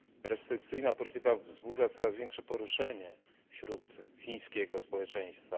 Restrykcyjna polityka wzbudza coraz większe poruszenie wśród chińskiego społeczeństwa.